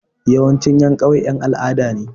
Yawancin ƴan ƙauye ƴan al'ada ne.